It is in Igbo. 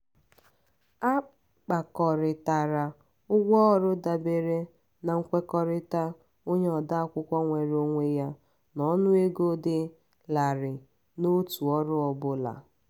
a kpakọrịtara ụgwọ ọrụ dabere na nkwekọrịta onye ode akwụkwọ nweere onwe ya n'ọnụego dị larịị n'otu ọrụ ọ bụla.